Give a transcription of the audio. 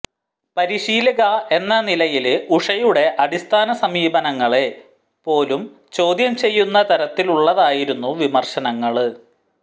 പരിശീലക എന്ന നിലയില് ഉഷയുടെ അടിസ്ഥാന സമീപനങ്ങളെപ്പോലും ചോദ്യം ചെയ്യുന്ന തരത്തിലുള്ളതായിരുന്നു വിമര്ശനങ്ങള്